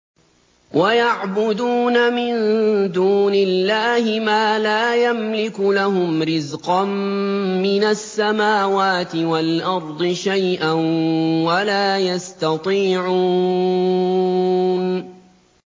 وَيَعْبُدُونَ مِن دُونِ اللَّهِ مَا لَا يَمْلِكُ لَهُمْ رِزْقًا مِّنَ السَّمَاوَاتِ وَالْأَرْضِ شَيْئًا وَلَا يَسْتَطِيعُونَ